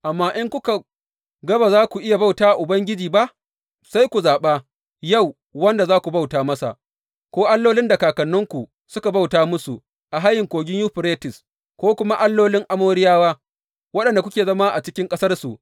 Amma in kuka ga ba za ku iya bauta wa Ubangiji ba, sai ku zaɓa yau wanda za ku bauta masa, ko allolin da kakanninku suka bauta musu a hayin Kogin Yuferites, ko kuma allolin Amoriyawa, waɗanda kuke zama a cikin ƙasarsu.